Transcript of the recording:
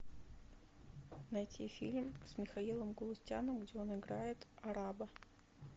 найти фильм с михаилом галустяном где он играет араба